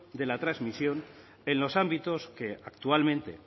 de la transmisión en los ámbitos que actualmente